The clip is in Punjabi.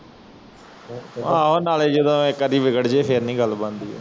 ਏਹੋ ਨਾਲੇ ਜਦੋ ਇਕ ਆਦਿ ਵਿਗੜ ਜਾਇ ਫਿਰ ਨੀ ਗੱਲ ਬਣਦੀ ਏ